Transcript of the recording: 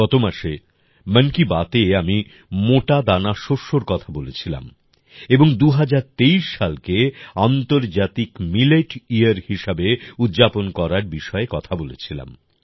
গত মাসে মন কি বাতএ আমি মোটা দানা শস্যর কথা বলেছিলাম এবং ২০২৩ সালকে আন্তর্জাতিক মিলেট ইয়ার হিসেবে উদ্যাপন করার বিষয়ে কথা বলেছিলাম